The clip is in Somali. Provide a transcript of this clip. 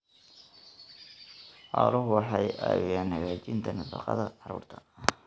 Xooluhu waxay caawiyaan hagaajinta nafaqada carruurta.